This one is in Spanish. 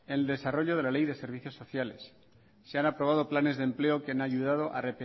en el desarrollo de la ley de servicios sociales se han aprobado planes de empleo que han ayudado a